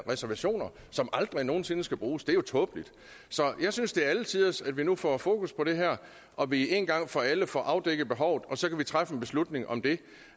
reservationer som aldrig nogen sinde skal bruges det er jo tåbeligt så jeg synes det er alle tiders at vi nu får fokus på det her og at vi en gang for alle får afdækket behovet og så kan vi træffe en beslutning om det